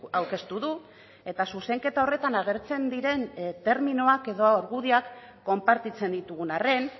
aurkeztu du eta zuzenketa horretan agertzen diren terminoak edo argudioak konpartitzen ditugun arren